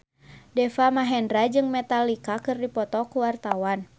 Deva Mahendra jeung Metallica keur dipoto ku wartawan